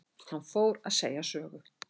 Hann fór að segja sögu.